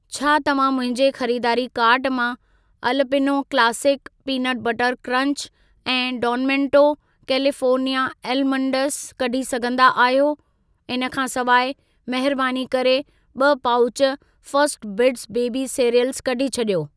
छा तव्हां मुंहिंजे खरीदारी कार्ट मां Alpino classic peanut butter crunch ऐं डॉन मोंटे कैलिफ़ोर्निया एलमंडस कढी सघंदा आहियो? इन खां सिवाइ, महिरबानी करे ॿ pouch first bits baby cereals कढी छॾियो।